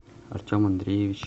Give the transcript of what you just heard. артем андреевич